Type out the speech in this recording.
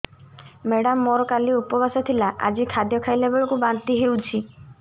madam ମୋର କାଲି ଉପବାସ ଥିଲା ଆଜି ଖାଦ୍ୟ ଖାଇଲା ବେଳକୁ ବାନ୍ତି ହେଊଛି